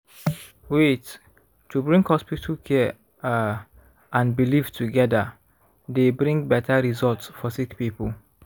wait- to bring hospital care ah and belief togeda dey bring beta result for sick poeple.